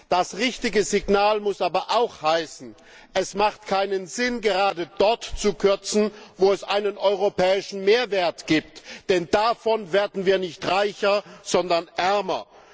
Das richtige Signal muss aber auch heißen, dass es keinen Sinn macht, gerade dort zu kürzen, wo es einen europäischen Mehrwert gibt, denn davon werden wir nicht reicher, sondern ärmer!